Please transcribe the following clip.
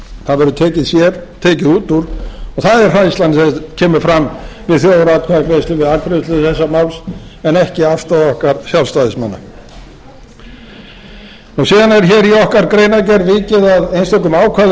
það verður tekið sér tekið út úr og það er hræðslan sem kemur fram við þjóðaratkvæðagreiðslu við afgreiðslu þessa máls en ekki afstaða okkar sjálfstæðismanna síðan er í okkar greinargerð vikið að einstökum ákvæðum